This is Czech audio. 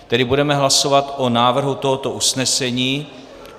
Tedy budeme hlasovat o návrhu tohoto usnesení.